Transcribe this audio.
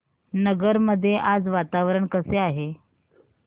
नगर मध्ये आज वातावरण कसे आहे